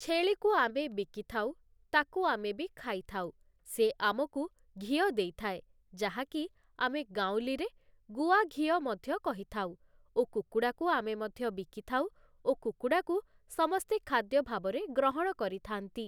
ଛେଳିକୁ ଆମେ ବିକିଥାଉ, ତାକୁ ଆମେ ବି ଖାଇଥାଉ, ସେ ଆମକୁ ଘିଅ ଦେଇଥାଏ ଯାହାକି ଆମେ ଗାଉଁଲି ରେ ଗୁଆ ଘିଅ ମଧ୍ୟ କହିଥାଉ ଓ କୁକୁଡ଼ାକୁ ଆମେ ମଧ୍ୟ ବିକିଥାଉ ଓ କୁକୁଡ଼ାକୁ ସମସ୍ତେ ଖାଦ୍ୟ ଭାବରେ ଗ୍ରହଣ କରିଥାଆନ୍ତି ।